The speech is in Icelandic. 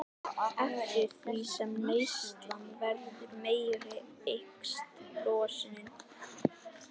Eftir því sem neyslan verður meiri eykst losunin.